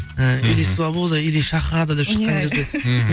і или свобода или шахада деп шыққан кезде мхм